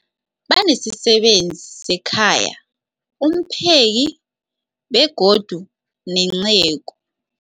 Banesisebenzi sekhaya, umpheki, begodu nenceku.